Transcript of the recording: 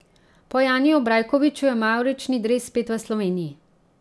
Po Janiju Brajkoviču je mavrični dres spet v Sloveniji.